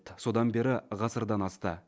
содан бері ғасырдан асты